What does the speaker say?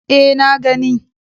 E, na gani.